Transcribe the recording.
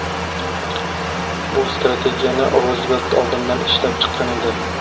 Bu strategiyani Ruzvelt oldindan ishlab chiqqan edi.